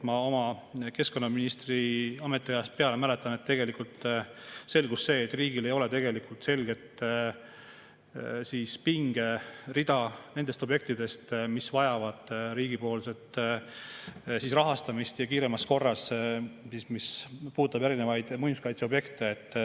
Ma oma keskkonnaministri ametiajast mäletan, mis puudutab erinevaid muinsuskaitseobjekte, siis tegelikult selgus, et riigil ei ole selget pingerida objektidest, mis vajavad riigi rahastamist, ja kiiremas korras.